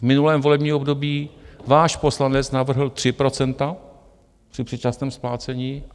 V minulém volebním období váš poslanec navrhl 3 % při předčasném splácení.